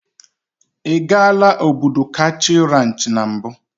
Ị gaala Obudu ranchị mbụ?